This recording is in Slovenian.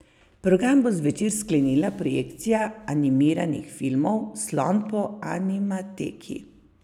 Program bo zvečer sklenila projekcija animiranih filmov Slon po Animateki.